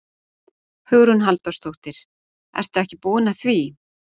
Hugrún Halldórsdóttir: Ertu ekki búin að því?